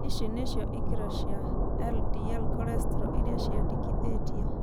Ici nĩcio ikĩro cia LDL cholesterol iria ciendekithĩtio.